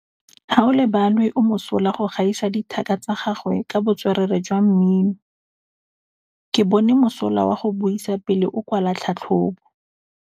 Gaolebalwe o mosola go gaisa dithaka tsa gagwe ka botswerere jwa mmino. Ke bone mosola wa go buisa pele o kwala tlhatlhobô.